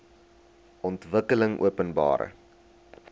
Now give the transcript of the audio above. ontwikkelingopenbare